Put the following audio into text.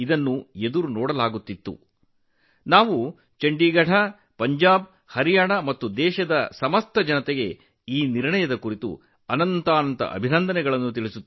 ಈ ನಿರ್ಧಾರಕ್ಕಾಗಿ ನಾನು ಚಂಡೀಗಢ ಪಂಜಾಬ್ ಮತ್ತು ಹರಿಯಾಣ ಮತ್ತು ಇಡೀ ದೇಶದ ಜನರನ್ನು ಅಭಿನಂದಿಸುತ್ತೇನೆ